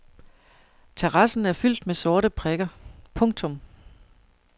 Terrassen er fyldt med sorte prikker. punktum